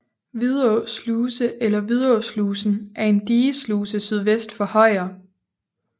Vidå Sluse eller Vidåslusen er en digesluse sydvest for Højer